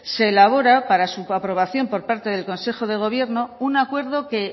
se elabora para su aprobación por parte del consejo de gobierno un acuerdo que